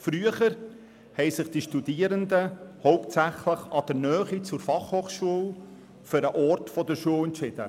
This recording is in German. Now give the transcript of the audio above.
Früher haben sich die Studierenden hauptsächlich aufgrund der geografischen Nähe zum Standort für eine bestimmte FH entschieden.